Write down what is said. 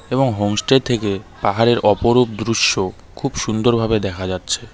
এবং হোমসতে থেকে পাহাড়ের অপরূপ দৃশ্য খুব সুন্দর ভাবে দেখা যাচ্ছে.